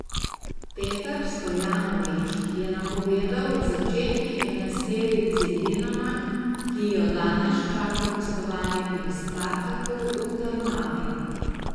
Petar Stojanović je napovedal v začetni enajsterici Dinama, ki jo danes čaka gostovanje pri Spartaku v Trnavi.